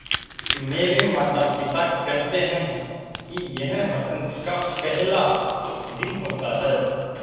मेरे माता पिता केहेते है कि यह बसंत का पेहला दिन होता हैँ